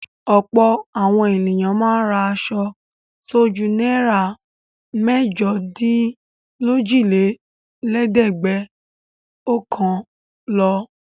Ọ̀pọ̀ àwọn ènìyàn máa ń ra aṣọ tó ju náírà mẹ́jọdínlójìlélẹ́ẹ̀dẹ́gbẹ́ọ̀kànl lọ.